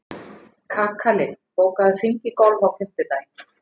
Kakali, bókaðu hring í golf á fimmtudaginn.